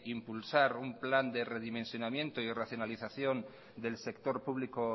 impulsar un plan de redimensionamiento y racionalización del sector público